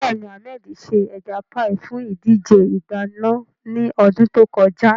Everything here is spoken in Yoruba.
Bẹ́ẹ̀ni, Ahmed ṣe ẹja páì fún ìdíje ìdáná ní ọdún tó kọjá.